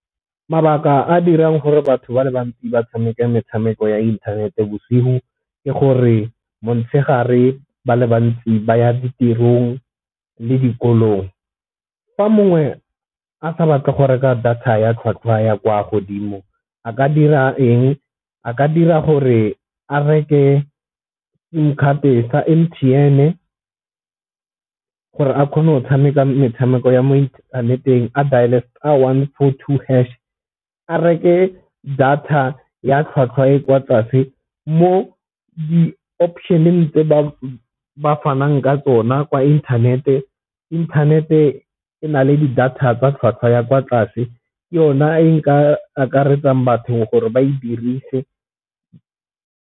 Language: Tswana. Mabaka a a dirang gore batho ba le bantsi ba tshameke metshameko ya inthanete bosigo ke gore motshegare ba le bantsi ba ya ditirong le dikolong. Fa mongwe a sa batle go reka data ya tlhwatlhwa ya kwa godimo a ka dira eng, a ka dira gore a reke sim card sa M_T_N gore a kgone go tshameka metshameko ya mo inthaneteng a dial-e star one four two hash a reke data ya tlhwatlhwa e kwa tlase mo di-option tse ba bafanang ka tsona kwa inthanete. Inthanete e na le di data tsa tlhwatlhwa ya kwa tlase ke yona e nka akaretsang batho gore ba e dirise.